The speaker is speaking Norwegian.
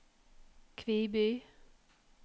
Kviby